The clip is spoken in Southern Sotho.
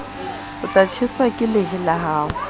tjheswa ke lehe ha o